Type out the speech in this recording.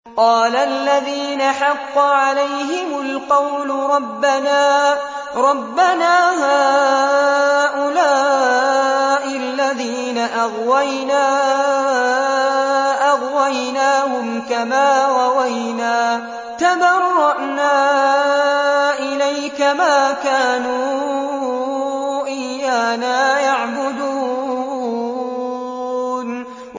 قَالَ الَّذِينَ حَقَّ عَلَيْهِمُ الْقَوْلُ رَبَّنَا هَٰؤُلَاءِ الَّذِينَ أَغْوَيْنَا أَغْوَيْنَاهُمْ كَمَا غَوَيْنَا ۖ تَبَرَّأْنَا إِلَيْكَ ۖ مَا كَانُوا إِيَّانَا يَعْبُدُونَ